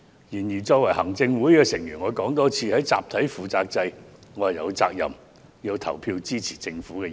然而，身為行政會議成員，我想再次指出，在集體負責制下，我有責任投票支持政府的議案。